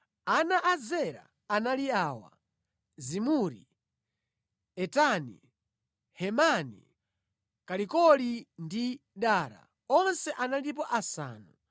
Ana a Zera anali awa: Zimuri, Etani, Hemani, Kalikoli ndi Dara. Onse analipo asanu.